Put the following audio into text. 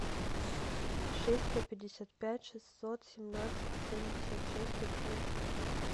шесть сто пятьдесят пять шестьсот семнадцать семьдесят шесть одиннадцать